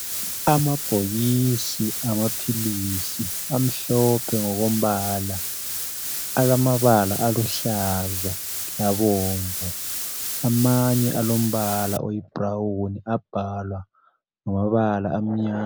Amabhokisi amaphilisi amhlophe ngokombala alamabala aluhlaza labomvu amanye alombala oyibhurawuni abhalwa ngamabala amnyama